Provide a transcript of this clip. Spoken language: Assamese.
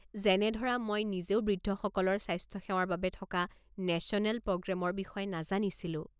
যেনে ধৰা মই নিজেও বৃদ্ধসকলৰ স্বাস্থ্যসেৱাৰ বাবে থকা নেশ্যনেল প্ৰগ্ৰেমৰ বিষয়ে নাজানিছিলোঁ।